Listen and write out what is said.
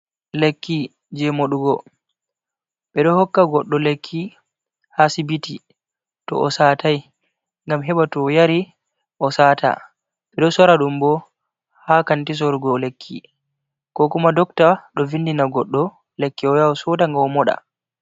Lekki je modu'go ɓe do hokka goddo lekki ha sibbiti to o satai gam heba to o yari o sata be do sora dum bo ha kanti sorugo lekki ko kuma dokta do vindina goddo lekki o yaha o'soda nga o moɗa.